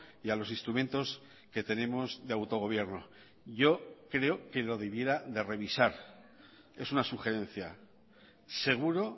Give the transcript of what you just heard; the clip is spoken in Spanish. y a los instrumentos que tenemos de autogobierno yo creo que lo debiera de revisar es una sugerencia seguro